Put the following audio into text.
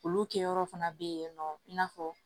Olu kɛyɔrɔ fana bɛ yen nɔ i n'a fɔ